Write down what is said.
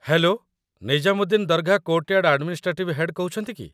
Hello, Nizamuddin Dargah courtyard administrative head କହୁଛନ୍ତି କି?